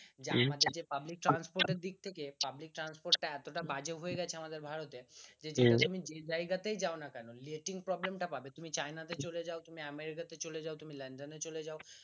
যে আমাদের যে public transport এর দিক থেকে public transport টা এতটা বাজে হয়ে গেছে আমাদের ভারতে সে তুমি যে জায়গাতেই যাও না কেন lathing problem টা পাবে তুমি চায়না তে চলে যাও তুমি আমেরিকাতে চলে যাও তুমি লন্ডনে চলে যাও